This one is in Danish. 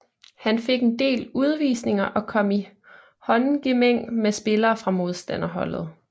Han fik en del udvisninger og kom i håndgemæng med spillere fra modstanderholdet